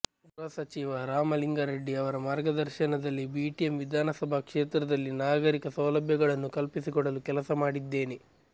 ಗೃಹ ಸಚಿವ ರಾಮಲಿಂಗಾರೆಡ್ಡಿ ಅವರ ಮಾರ್ಗದರ್ಶನದಲ್ಲಿ ಬಿಟಿಎಂ ವಿಧಾನಸಭಾ ಕ್ಷೇತ್ರದಲ್ಲಿ ನಾಗರಿಕ ಸೌಲಭ್ಯಗಳನ್ನು ಕಲ್ಪಿಸಿಕೊಡಲು ಕೆಲಸ ಮಾಡಿದ್ದೇನೆ